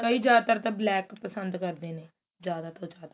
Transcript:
ਕਈ ਜਿਆਦਾਤਰ ਤਾਂ black ਪਸੰਦ ਕਰਦੇ ਨੇ ਜਿਆਦਾ ਤੋਂ ਜਿਆਦਾ